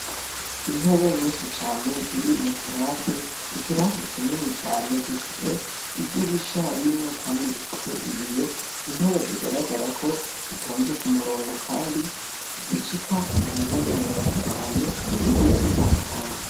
Intebe nyinshi cane ziri mu kirase ikirase kinini cane gifise idirisha rimwe, kandi rifise ibiyo intebe zigaragara ko zitonze ku murongo, kandi zishika mu ntebe mirongo itanu zigiye zitandukanye.